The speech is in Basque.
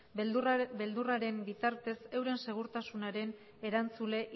beldurraren bitartez euren segurtasunaren erantzule